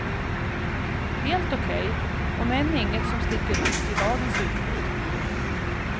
Helt okej, om än inget som sticker ut i dagens utbud.